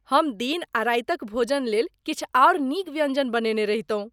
हम दिन आ रातिक भोजनलेल किछु आओर नीक व्यञ्जन बनेने रहितहुँ।